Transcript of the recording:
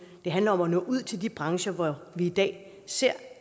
det handler om at nå ud til de brancher hvor vi i dag ser